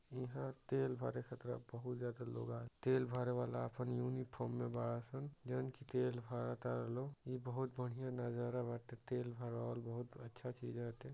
इहाँ तेल भरे खतरा बहुत ज्यादा लोग आ तेल भरे वाला आपन यूनिफॉर्म मे बाडसन। जवन की तेल भरत तारे लोग। यह बहुत बढ़िया नजारा बाटे तेल भरवाल बहुत अच्छा चीज एते --